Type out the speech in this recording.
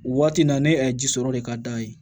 Waati in na ne ye ji sɔrɔ de ka d'a ye